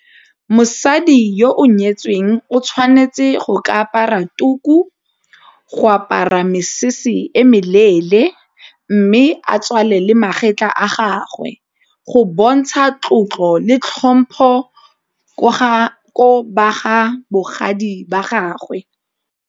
Mosadi yo o nyetsweng o tshwanetse go ka apara tuku, go apara mesese e meleele, mme a tswalele magetlha a gagwe go bontsha tlotlo le tlhompho ko ba ga bogadi ba gagwe.